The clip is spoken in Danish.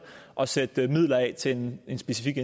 og sætte midler af til en specifik